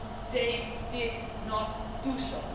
They did not do so.